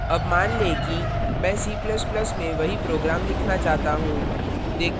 अब मान लें कि मैं c ++ में वही program लिखना चाहता हूँ